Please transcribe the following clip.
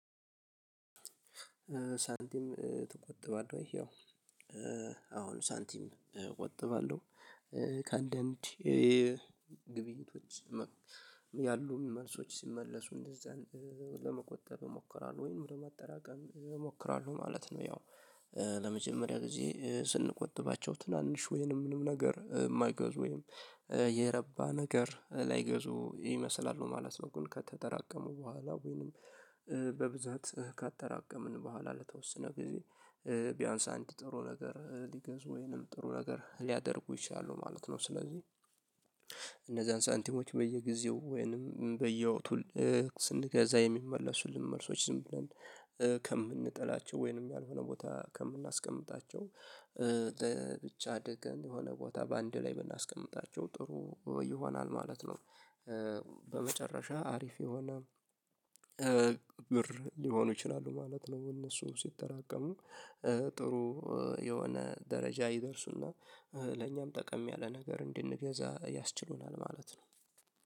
ሳንቲም ትቆጥባለህ ወይ? ያው አዎን ሳንቲም እቆጥባለሁ ከአንድ እንድ ግብኝቶች ያሉ መልሶች ሲመለሱ እንደዛ ለመቆጠብ እሞክራለሁ ወይንም ለማጠራቀም እሞክራለሁ ማለት ነው። ያው ለመጀመሪያ ጊዜ ስንቆጥባቸው ትናንሽ ወይንም ምንም ነገር ማይገዙ ወይንም የረባ ነገር ላይገዙ ይመስላሉ ማለት ነው። ግን ከተጠራቀሙ በኋላ ወይንም በብዛት ካጠራቀምን በኋላ ለተወሰነ ጊዜ ቢያንስ አንድ ጥሩ ነገር ሊገዙ ወይንም ጥሩ ነገር ሊያደርጉ ይችላሉ ማለት ነው። ስለዚህ እነዛን ሳንቲሞች በየጊዜው ወይንም በየወቅቱ ስንገዛ የሚመለሱልን መልሶች ዝም ብለን ከምንጥላቸው ወይንም ያልሆነ ቦታ ከምናስቀምጣቸው ብቻ ደግ የሆነ ቦታ በአንድ ላይ ብናስቀምጣቸው ጥሩ ይሆናል ማለት ነው። በመጨረሻ አሪፍ የሆነ ብር ሊሆኑ ይችላሉ ማለት ነው። እነሱ ሲጠራቀሙ ጥሩ የሆነ ደረጃ ይደርሱ እና ለኛም ጠቀም ያለ ነገር እንድንገዛ ያስችሉናል ማለት ነው